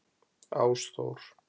Ásþór